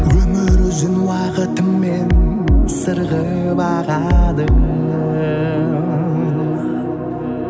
өмір өзен уақытымен сырғып ағады